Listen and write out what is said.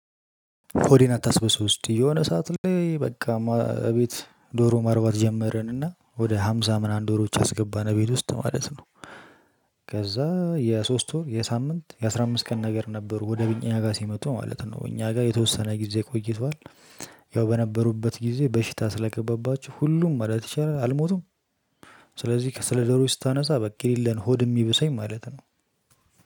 ሆዴን አታስብሰው እስቲ የሆነ ሰዓት ላይ በቃ ቤት ዶሮ ማርባት ጀመርን እና ወደ ሃምሳ ምናምን ዶሮዎች አስገባን ቤት ውስጥ ማለት ነው። ከዛ የሶስት ወር የሳምንት የአስራ አምስት ቀን ነገር ነበሩ ወደ እኛ ጋር ስመጡ ማለት ነው እኛ ጋር የተወሰነ ጊዜ ቆይቷል። ያው በነበሩበት ጊዜ በሽታ ስለገባባችሁ ሁሉም ማለት ይቻላል አልሞቱም። ስለዚህ ስለ ዶሮዎች ስታነሳ በቃ የሌለ ነው ሆድ የሚብሰኝ ማለት ነው።